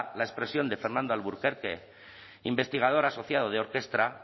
la expresión de fernando alburquerque investigador asociado de orkestra